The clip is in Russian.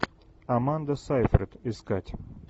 аманда сайфред искать